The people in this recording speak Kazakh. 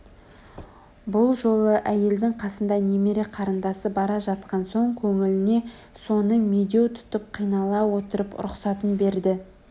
бұл жолы әйелінің қасында немере қарындасы бара жатқан соң көңіліне соны медеу тұтып қинала отырып рұқсатын берді